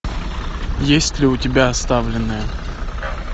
есть ли у тебя оставленные